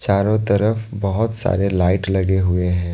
चारों तरफ बहोत सारे लाइट लगे हुए हैं।